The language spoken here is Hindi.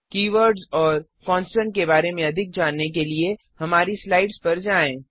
कीवर्ड्स और कॉन्स्टन्ट के बारे में अधिक जानने के लिए हमारी स्लाइड्स पर जाएँ